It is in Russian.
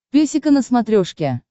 песика на смотрешке